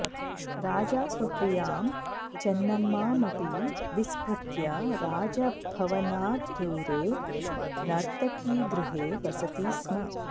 राजा स्वप्रियां चेन्नम्मामपि विस्मृत्य राजभवनाद् दूरे नर्तकीगृहे वसति स्म